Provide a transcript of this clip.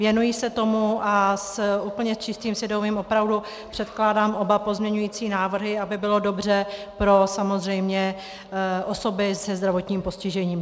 Věnuji se tomu a s úplně čistým svědomím opravdu předkládám oba pozměňující návrhy, aby bylo dobře pro samozřejmě osoby se zdravotním postižením.